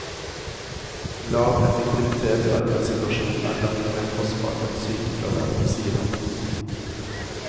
Lav effektivitet i arbeidssituasjonen er langt mer kostbart enn sykefravær, sier han.